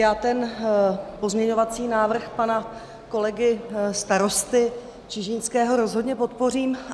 Já ten pozměňovací návrh pana kolegy starosty Čižinského rozhodně podpořím.